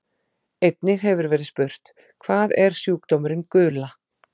Einnig hefur verið spurt: Hvað er sjúkdómurinn gula?